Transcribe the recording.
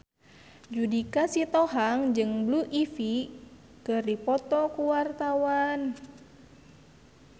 Judika Sitohang jeung Blue Ivy keur dipoto ku wartawan